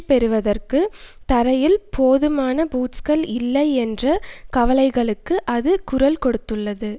பெறுவதற்கு தரையில் போதுமான பூட்ஸ்கள் இல்லை என்ற கவலைகளுக்கு அது குரல் கொடுத்துள்ளது